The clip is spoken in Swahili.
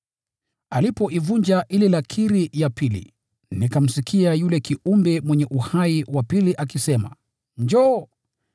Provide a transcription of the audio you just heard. Alipoivunja ile lakiri ya pili, nikamsikia yule kiumbe wa pili mwenye uhai akisema, “Njoo!”